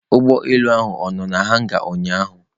Ụgbọelu ahụ ọ nọ na hanga ụnyaahụ